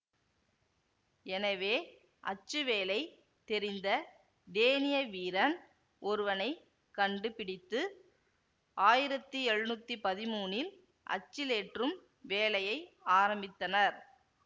எனவே அச்சு வேலை தெரிந்த டேனிய வீரன் ஒருவனை கண்டு பிடித்து ஆயிரத்தி எழுநூத்தி பதிமூனில் அச்சிலேற்றும் வேலையை ஆரம்பித்தனர்